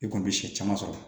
I kɔni bɛ sɛ caman sɔrɔ